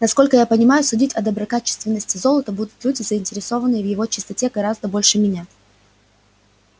насколько я понимаю судить о доброкачественности золота будут люди заинтересованные в его чистоте гораздо больше меня